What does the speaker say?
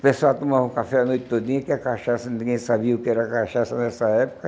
O pessoal tomava café a noite todinha, porque a cachaça, ninguém sabia o que era cachaça nessa época.